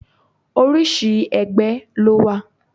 Orísìí ẹgbẹ́ ló wà.